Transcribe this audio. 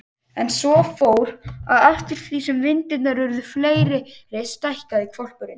En svo fór, að eftir því sem myndirnar urðu fleiri stækkaði hvolpurinn.